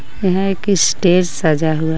यहां एक स्टेज सजा हुआ है.